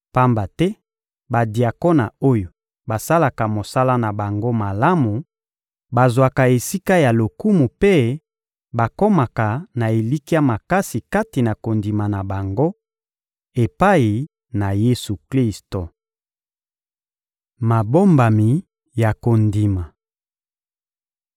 Pamba te badiakona oyo basalaka mosala na bango malamu bazwaka esika ya lokumu mpe bakomaka na elikya makasi kati na kondima na bango epai na Yesu-Klisto. Mabombami ya kondima